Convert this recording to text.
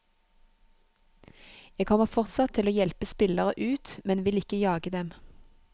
Jeg kommer fortsatt til å hjelpe spillere ut, men vil ikke jage dem.